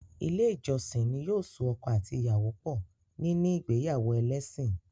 Ilé ìjọsìn ní yóò so ọkọ àti ìyàwó pọ̀ níní ìgbéyàwó ẹlésìn.